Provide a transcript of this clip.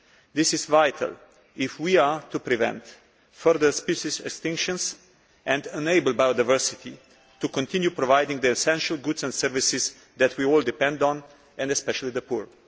This is vital if we are to prevent further species extinctions and enable biodiversity to continue providing the essential goods and services that we all depend on, and especially the poor.